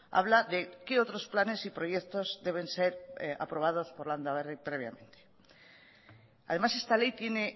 habla de qué otros planes y proyectos deben ser aprobados por landaberri previamente además esta ley tiene